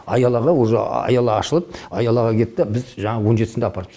аялаға уже аяла ашылып аялаға кетті біз жаңа он жетісінде апарып